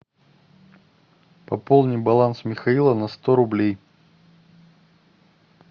пополни баланс михаила на сто рублей